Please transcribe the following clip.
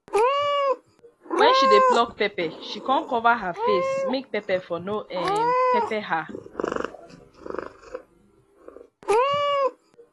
when she dey pluck pepper she con cover her face make pepper for no um pepper her